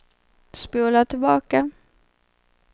spola tillbaka